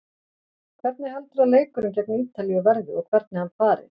Hvernig heldurðu að leikurinn gegn Ítalíu verði og hvernig hann fari?